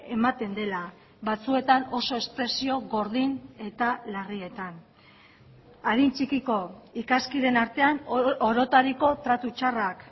ematen dela batzuetan oso espresio gordin eta larrietan adin txikiko ikaskideen artean orotariko tratu txarrak